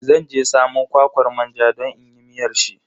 Zan je samo kwakwar manja don inyi miyar shi.